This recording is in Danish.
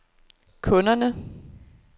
kunderne